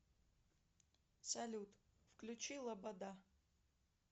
салют включи лобода